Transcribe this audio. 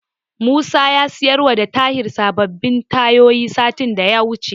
Musa ya siyarwa da Tahir sababbin tayoyinsa satin da ya wuce.